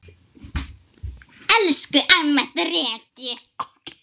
Elsku amma Dreki.